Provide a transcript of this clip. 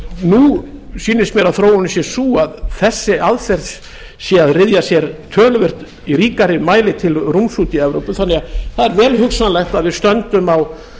nú sýnist mér að þróunin sé sú að þessi aðferð sé að ryðja sér töluvert í ríkari mæli til rúms úti í evrópu þannig að það er vel hugsanlegt að við stöndum á